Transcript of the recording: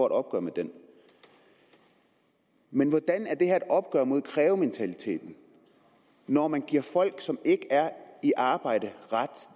et opgør med den men hvordan er det her et opgør med krævementaliteten når man giver folk som ikke er i arbejde ret